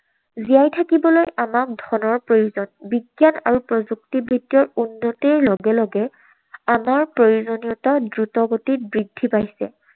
জীয়াই থাকিবলৈ আমাক ধনৰ প্ৰয়োজন। বিজ্ঞান আৰু প্ৰযুক্তিবিদ্যাৰ উন্নতিৰ লগে লগে আমাৰ প্ৰয়োজনীয়তা দ্ৰুতগতিত বৃদ্ধি পাইছে।